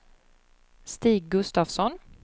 Stig Gustafsson